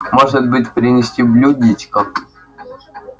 может быть принести блюдечко